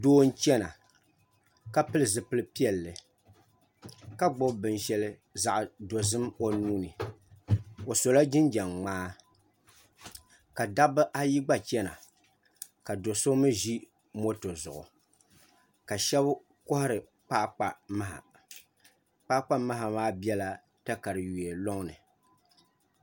Doo n chɛna ka pili zipili piɛlli ka gbubi binshɛli zaɣ dozim o nuuni o sola jinjɛm ŋmaa ka dabba ayi gba chɛna ka do so mii ʒi moto zuɣu ka shab kohari kpaakpa maha kpaakpa maha maa biɛla katawiya loŋni